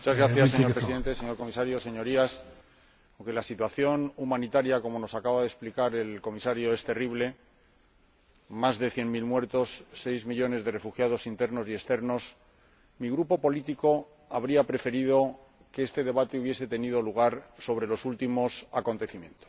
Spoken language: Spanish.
Señor Presidente, señor Comisario, señorías, aunque la situación humanitaria, como nos acaba de explicar el Comisario, es terrible, con más de cien mil muertos, seis millones de refugiados internos y externos, mi Grupo político habría preferido que este debate hubiese tenido lugar a raíz de los últimos acontecimientos